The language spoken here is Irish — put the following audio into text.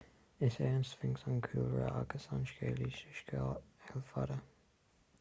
is é an sphinx an cúlra agus an scéalaí sa scéal fada